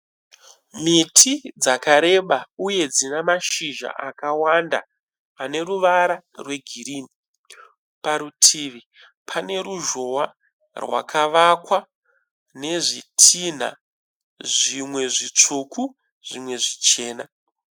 Miti dzakareba uye dzine mashizha akawanda aneruvara rwegirini. Parutivi pane ruzhowa rakavakwa nezvitinha, zvimwe zvitsvuku zvimwe zvichena.